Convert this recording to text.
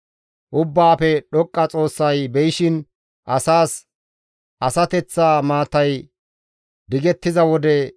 Ubbaafe Dhoqqa Xoossay beyishin asas asateththa maatay digettiza wode,